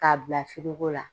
K'a bila firigo la.